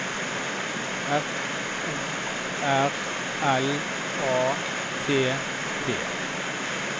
F O R L A T T